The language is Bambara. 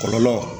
Kɔlɔlɔ